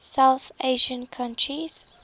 south asian countries